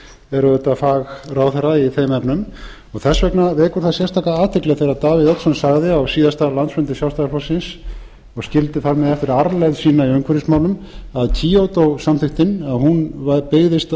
er auðvitað fagráðherra í þeim efnum og þess vegna vekur það sérstaka athygli þegar davíð oddsson sagði á síðasta landsfundi sjálfstæðisflokksins og skildi þar með eftir arfleifð sína í umhverfismálum að kyoto samþykktin byggðist